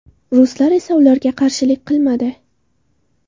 Ruslar esa ularga qarshilik qilmadi.